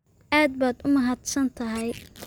Aad baad u mahadsantahay